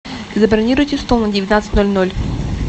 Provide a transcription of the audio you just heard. забронируйте стол на девятнадцать ноль ноль